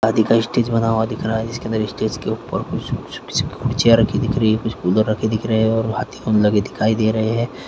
शादी का स्टेज बना हुआ दिख रहा है जिसे अंदर स्टेज के ऊपर कुछ चेयर रखी दिख रही हैं कुछ उधर रखे दिख रहे हैं और हाथी बम लागे दिखाई दे रहे हैं।